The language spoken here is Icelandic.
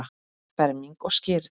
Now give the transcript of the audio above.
Ferming og skírn.